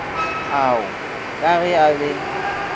ao ka ge a be